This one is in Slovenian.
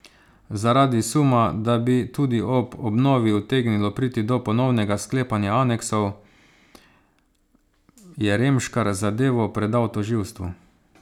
Zaradi suma, da bi tudi ob obnovi utegnilo priti do ponovnega sklepanja aneksov, je Remškar zadevo predal tožilstvu.